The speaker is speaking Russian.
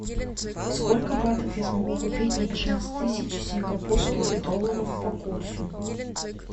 сколько батов я смогу купить на пятнадцать тысяч сингапурских долларов по курсу